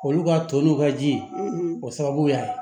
Olu ka to n'u ka ji ye o sababu y'a ye